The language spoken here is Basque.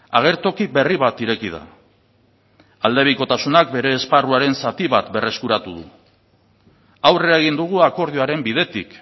agertoki berri bat ireki da aldebikotasunak bere esparruaren zati bat berreskuratu du aurrera egin dugu akordioaren bidetik